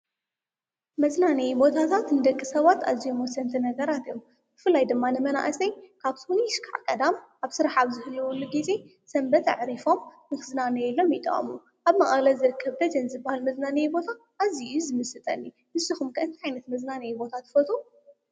መዝናነዬ ቦታታት ንደቂ ሰባት ኣዝዮ ወሰንቲ ነገራት እዮም፡፡ ብፍልይ ድማ ንመናእሰይ ካብ ሶኑይ ክሳብ ቀዳም ኣብ ስራሕ ኣብ ዝህልወሉ ጊዜ ሰንበት ኣዕሪፎም ንኽዝናነዩሎም ይጠዋሙ፡፡ ኣብ መቐለ ዝርከብ ደጀን ዝባሃል መዝናንዬ ቦታ ኣዚዩ እዩ ዝምስጠኒ፡፡ ንስኹም ከ እንታይ ዓይነት መዝናነይ ቦታ ትፈትው?